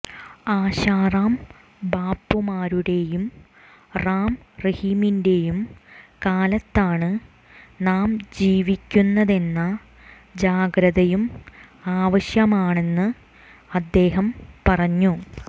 ആശാറാം ബാപ്പുമാരുടെയും റാം റഹീമിന്റെയും കാലത്താണ് നാം ജീവിക്കുന്നതെന്ന ജാഗ്രതയും ആവശ്യമാണെന്ന് അദ്ദേഹം പറഞ്ഞു